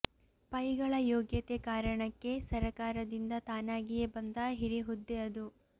ಪೈಗಳ ಯೋಗ್ಯತೆ ಕಾರಣಕ್ಕೇ ಸರಕಾರದಿಂದ ತಾನಾಗಿಯೇ ಬಂದ ಹಿರಿ ಹುದ್ದೆ ಅದು